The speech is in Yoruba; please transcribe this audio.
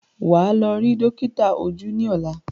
Wà á lọ rí dọ́kítà ojú ní ọ̀la!